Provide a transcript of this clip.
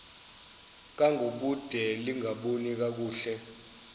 ngangokude lingaboni kakuhle